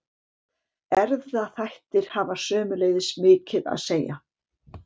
Erfðaþættir hafa sömuleiðis mikið að segja.